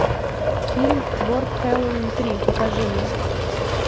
фильм город хэллоуин три покажи мне